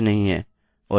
अतः इसे हमें हटाना होगा